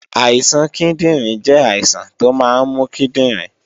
Àìsàn kíndìnrín jẹ́ àìsàn tó máa ń mú kíndìnrín